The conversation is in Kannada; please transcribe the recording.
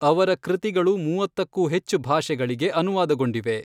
ಅವರ ಕೃತಿಗಳು ಮೂವತ್ತಕ್ಕೂ ಹೆಚ್ಚು ಭಾಷೆಗಳಿಗೆ ಅನುವಾದಗೊಂಡಿವೆ.